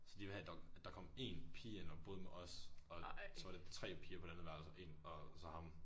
Så de ville have der kom én pige ind og boede med os og så var det 3 piger på det andet værelse og så én og så ham